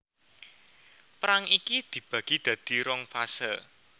Perang iki dibagi dadi rong fase